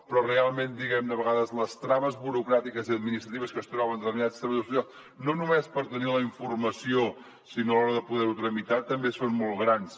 però realment de vegades les traves burocràtiques i administratives que es troben determinats treballadors socials no només per tenir la informació sinó a l’hora de poder ho tramitar també són molt grans